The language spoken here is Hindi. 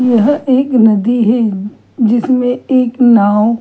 यह एक नदी है जिसमें एक नाव --